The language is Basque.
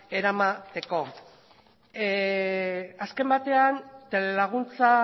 eramateko azken batean telelaguntza